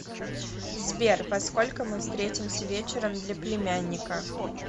сбер во сколько мы встретимся вечером для племянника